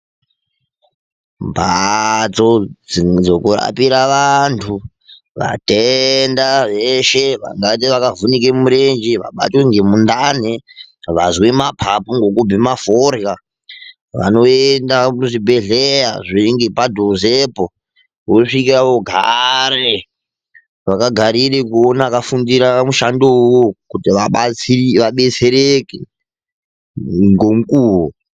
Mbatso dzekurapira vanhu. Vatenda veshe vanenge vakavhunike mirenje, vanenge vakabatwa ngemundani, vozwe mapapu ngekubheme forya vanoenda kuzvibhledhlera zviringe padhuzepo vosvikepo vogara, vondogarire kuoona vakafundire mushando wona uwowo kuti vadetsereke ngemukuwo.